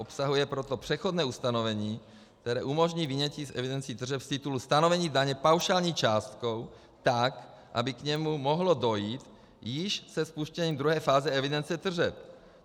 Obsahuje proto přechodné ustanovení, které umožní vynětí z evidencí tržeb z titulu stanovení daně paušální částkou tak, aby k němu mohlo dojít již se spuštěním druhé fáze evidence tržeb.